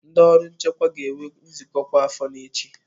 Ndị ọrụ nchekwa ga-enwe nzukọ kwa afo ha echi.